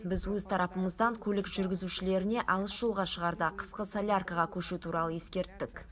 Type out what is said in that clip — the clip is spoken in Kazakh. біз өз тарапымыздан көлік жүргізушілеріне алыс жолға шығарда қысқы соляркаға көшу туралы ескерттік